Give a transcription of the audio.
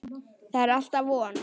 Það er alltaf von.